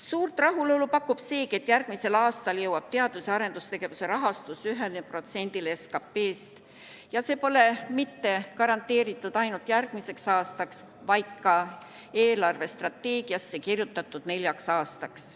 Suurt rahulolu pakub seegi, et järgmisel aastal jõuab teadus- ja arendustegevuse rahastus 1%-ni SKP-st ja see pole garanteeritud mitte ainult järgmiseks aastaks, vaid kirjutatud eelarvestrateegiasse neljaks aastaks.